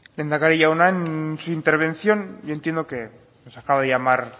lehendakari jauna en su intervención yo entiendo que nos acaba de llamar